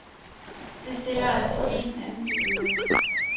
Det stiller os i en anden situation.